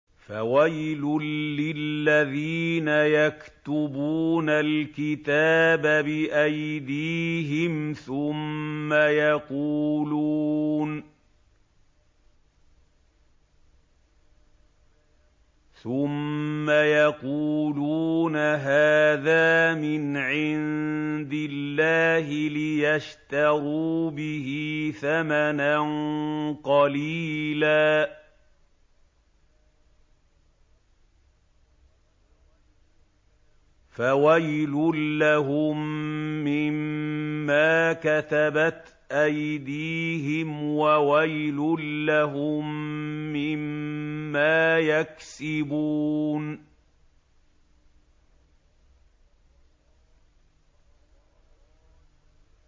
فَوَيْلٌ لِّلَّذِينَ يَكْتُبُونَ الْكِتَابَ بِأَيْدِيهِمْ ثُمَّ يَقُولُونَ هَٰذَا مِنْ عِندِ اللَّهِ لِيَشْتَرُوا بِهِ ثَمَنًا قَلِيلًا ۖ فَوَيْلٌ لَّهُم مِّمَّا كَتَبَتْ أَيْدِيهِمْ وَوَيْلٌ لَّهُم مِّمَّا يَكْسِبُونَ